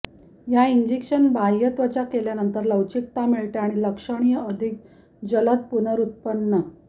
या इंजेक्शन बाह्यत्वचा केल्यानंतर लवचिकता मिळविते आणि लक्षणीय अधिक जलद पुनर्व्युत्पन्न